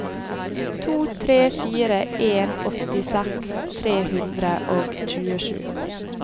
to tre fire en åttiseks tre hundre og tjuesju